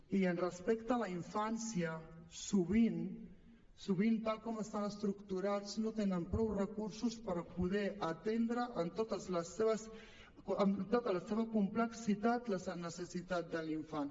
i respecte a la infància sovint sovint tal com estan estructurats no tenen prou recursos per poder atendre en tota la seva complexitat la necessitat de l’infant